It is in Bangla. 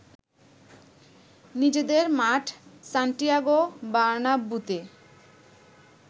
নিজেদের মাঠ সান্টিয়াগো বার্নাব্যুতে